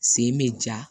Sen bɛ ja